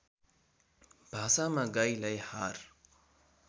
भाषामा गाईलाई हार